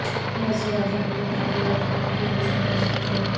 وزیر اعظم Binali Yildirim کی روس میں مصروفیات